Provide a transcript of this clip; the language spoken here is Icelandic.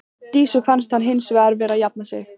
Dísu fannst hann hins vegar vera að jafna sig.